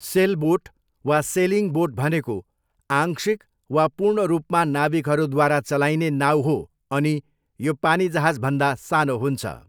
Sailboat वा sailing boat भनेको आंशिक वा पूर्ण रूपमा नाविकहरूद्वारा चलाइने नाउ हो अनि यो पानीजहाजभन्दा सानो हुन्छ।